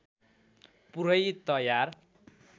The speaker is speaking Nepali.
पुरै तयार